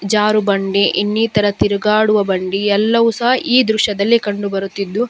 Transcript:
ಜಾರುಬಂಡಿ ಇನ್ನಿತರ ತಿರುಗಾಡುವ ಬಂಡಿ ಎಲ್ಲವು ಸಹ ಈ ದೃಶ್ಯದಲ್ಲಿ ಕಂಡು ಬರುತ್ತಿದ್ದು --